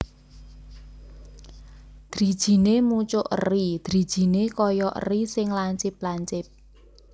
Drijiné mucuk eri drijiné kaya eri sing lancip lancip